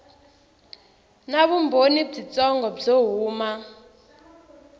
na vumbhoni byitsongo byo huma